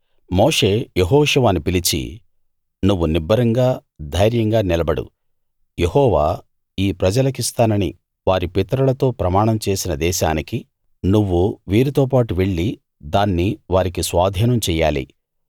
మోషే యెహోషువను పిలిచి నువ్వు నిబ్బరంగా ధైర్యంగా నిలబడు యెహోవా ఈ ప్రజలకిస్తానని వారి పితరులతో ప్రమాణం చేసిన దేశానికి నువ్వు వీరితోబాటు వెళ్లి దాన్ని వారికి స్వాధీనం చెయ్యాలి